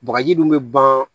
Bagaji dun bɛ ban